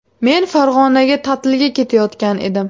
Men Farg‘onaga ta’tilga ketayotgan edim.